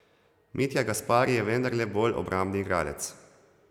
Mitja Gaspari je vendarle bolj obrambni igralec.